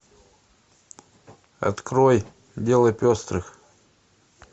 открой дело пестрых